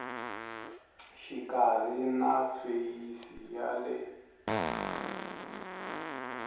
xikarhi na feyisi ya le